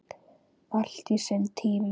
Allt á sinn tíma.